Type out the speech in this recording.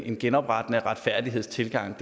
en genoprettende retfærdighedstilgang